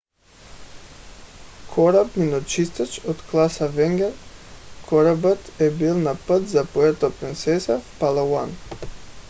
кораб миночистач от клас avenger корабът е бил на път за пуерто принсеса в палауан